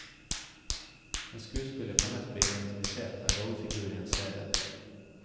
En skuespiller kan lett bli identifisert med en rollefigur i en serie.